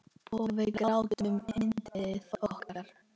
Og við grátum yndið okkar.